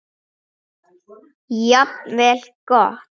Jafnvel gott.